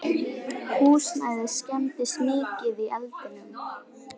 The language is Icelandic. Húsnæðið skemmdist mikið í eldinum